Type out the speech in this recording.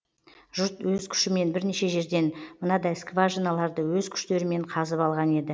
жұрт өз күшімен бірнеше жерден мынадай скважиналарды өз күштерімен қазып алған еді